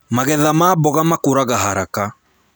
Magetha ma mboga makũraga haraka